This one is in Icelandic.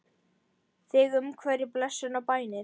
Þig umvefji blessun og bænir.